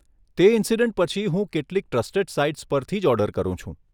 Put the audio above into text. તે ઇન્સિડેન્ટ પછી હું કેટલીક ટ્રસ્ટેડ સાઇટ્સ પરથી જ ઓર્ડર કરું છું.